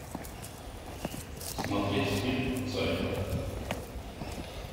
смотреть фильм царь